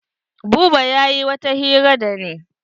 Buba yayi wata hira da ni.